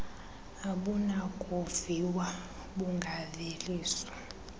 abunakuviwa d bungaveliswa